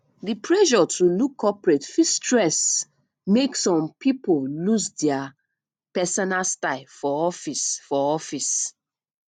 di pressure to look corporate fit stress make some pipo lose dia personal style for office for office